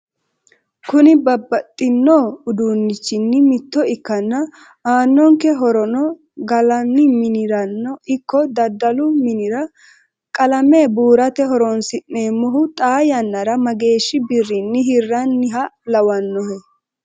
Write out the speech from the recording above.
Kuni babadhinno uduunnichinni mitto ikkanna aanonke horono gallanni miniranno ikko daddalu minira qalame buurate horonso'neemohu xaa yannara mageeshshi birrinni hiranniha lawannohe